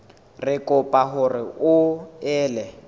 re kopa hore o ele